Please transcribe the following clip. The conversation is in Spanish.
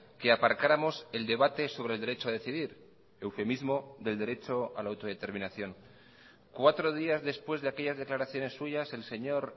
que aparcáramos el debate sobre el derecho a decidir eufemismo del derecho a la autodeterminación cuatro días después de aquellas declaraciones suyas el señor